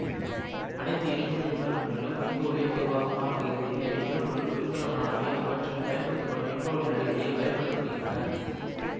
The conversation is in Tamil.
அனைத்து எரிபொருள் மின்கலன்களிலும் மின்பகுளியே பொதுவாக மாறுபடுகிறது எனவே எரிபொருள் மின்கலன்களானவை அவற்றில் பயன்படுத்தப்படும் மின்பகுளி அடிப்படையில் வகை படுத்த படுகின்றன